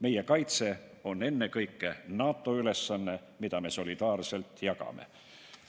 Meie kaitse on ennekõike NATO ülesanne, mida me solidaarselt jagame.